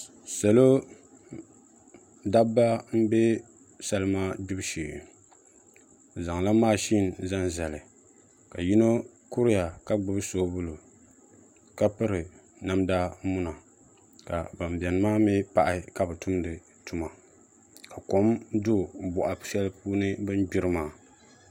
Salo dabba n bɛ salima gbibu shee bi zaŋla mashin zaŋ zali ka yino kuriya ka gbubi soobuli ka piri namda muna ka ban biɛni maa mii pahi ka bi tumdi tuma ka kom do boɣa shɛli puuni bi ni gbiri maa